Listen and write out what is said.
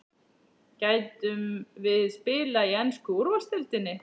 Gætum við spila í ensku úrvalsdeildinni?